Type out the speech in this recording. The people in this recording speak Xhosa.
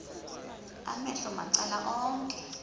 amehlo macala onke